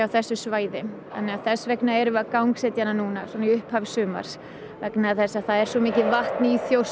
þessu svæði þannig að þess vegna erum við að gangsetja hana núna í upphafi sumars vegna þess að það er svo mikið vatn í Þjórsá